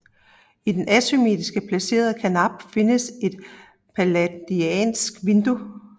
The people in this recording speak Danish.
I den asymmetrisk placerede karnap findes et palladiansk vindue